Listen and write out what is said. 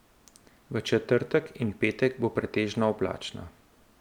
V četrtek in petek bo pretežno oblačno.